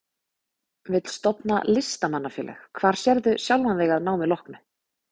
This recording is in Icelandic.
Vill stofna Listamanna-félag Hvar sérðu sjálfan þig að námi loknu?